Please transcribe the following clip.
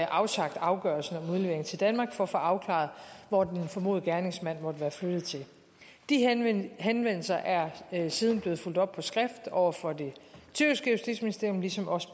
afsagt afgørelsen om udlevering til danmark for at få afklaret hvor den formodede gerningsmand måtte være flyttet til de henvendelser henvendelser er siden blevet fulgt op på skrift over for det tyrkiske justitsministerium ligesom også